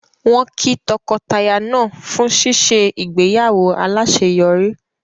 Wọ́n kí tọkọtaya náà fún ṣíṣe ìgbéyàwó aláṣeyọrí